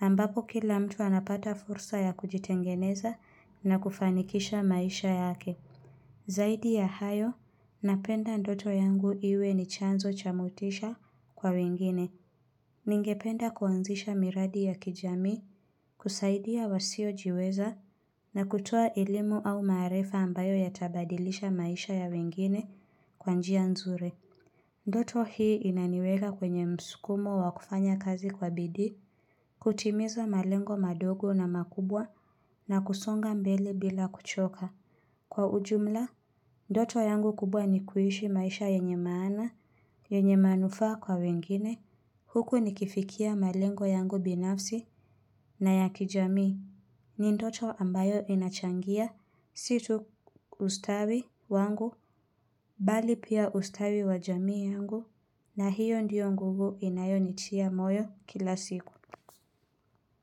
ambapo kila mtu anapata fursa ya kujitengeneza na kufanikisha maisha yake. Zaidi ya hayo, napenda ndoto yangu iwe ni chanzo cha motisha kwa wengine. Ningependa kuanzisha miradi ya kijamii, kusaidia wasiojiweza na kutoa elimu au maarifa ambayo yatabadilisha maisha ya wengine kwa njia nzuri. Ndoto hii inaniweka kwenye msukumo wakufanya kazi kwa bidii, kutimiza malengo madogo na makubwa na kusonga mbele bila kuchoka. Kwa ujumla, ndoto yangu kubwa ni kuishi maisha yenye maana, yenye manufaa kwa wengine, huku nikifikia malengo yangu binafsi na ya kijamii. Ni ndoto ambayo inachangia si tu ustawi wangu, bali pia ustawi wa jamii yangu, na hiyo ndiyo nguvu inayonitia moyo kila siku.